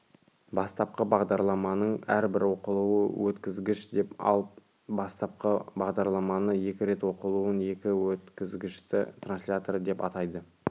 бастапқы бағдарламаның әрбір оқылуы өткізгіш деп ал бастапқы бағдарламаны екі рет оқылуын екі өткізгішті транслятор деп атайды